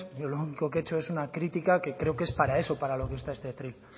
pero yo lo único que he hecho es una crítica que creo que es para eso para lo que está este atril